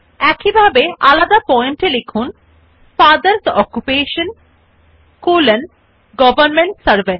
একইভাবে আলাদা point এ লিখুন father's occupation column government servant এবং মথার্স অকুপেশন কলন হাউসউইফ